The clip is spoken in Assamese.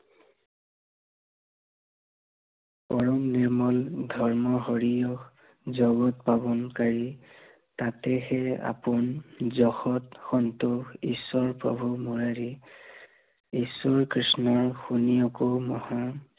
পৰম নিৰ্মল ধৰ্ম হৰিয়, জগত পাৱনকাৰী, সেয়েহে আপোন যশত সন্তোষ ঈশ্বৰ প্ৰভু মুৰাৰী। ঈশ্বৰ কৃষ্ণ শুনিয়োক মহান